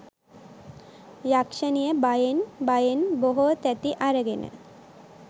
යක්ෂණිය බයෙන් බයෙන් බොහෝ තැති අරගෙන